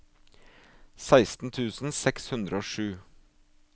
seksten tusen seks hundre og sju